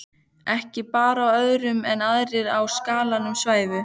Ekki bar á öðru en aðrir í skálanum svæfu.